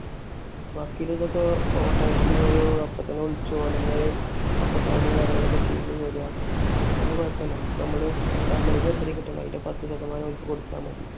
വക്കീലും അതൊക്കെ automatically ഓര് അപ്പൊ തന്നെ വിളിച്ച് ഓര് തന്നെ ഒക്കെ file ഉം കാര്യങ്ങളുമൊക്കെ ചെയ്ത് ശരിയാക്കും. അതൊന്നും കൊഴപ്പോല. ഓർക്ക് നമ്മൾ നമ്മൾക്ക് എത്ര കിട്ടുന്നോ അതിന്റെ പത്ത് ശതമാനം അവർക്ക് കൊടുത്താൽ മതി.